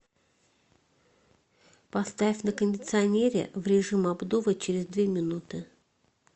поставь на кондиционере в режим обдува через две минуты